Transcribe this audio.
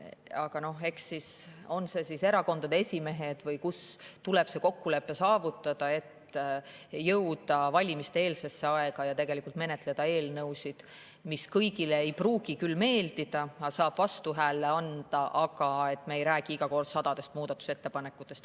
Aga noh, eks erakondade esimeestel või kellelgi tuleb saavutada see kokkulepe, et jõuda valimiste-eelsesse aega ja menetleda eelnõusid, mis kõigile ei pruugi meeldida ja millele saab vastuhääle anda, aga me ei räägiks siis iga kord sadadest muudatusettepanekutest.